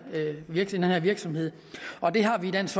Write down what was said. virksomhed virksomhed og det har vi i dansk